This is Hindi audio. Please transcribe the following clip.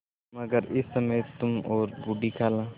मगर इस समय तुम और बूढ़ी खाला